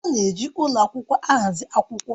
A na-eji ụlọ akwụkwọ ahazi akwụkwọ